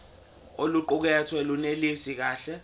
oluqukethwe lunelisi kahle